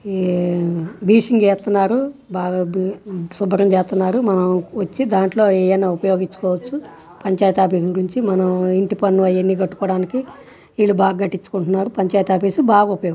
ఈ బేసింగే స్తున్నారు బాగా శుభ్రం చేస్తున్నారు వచ్చి దాంట్లో మనం ఏయ్యనా ఉపయోగించుకోవచ్చు పంచాయతీ ఆఫీస్ గురించి మనం ఇంటి పన్నుఇయ్యని కట్టుకోవడానికి వీలు బాగా కట్టించుకుంటున్నారు పంచాయతీ ఆఫీస్ బాగా --ఉప.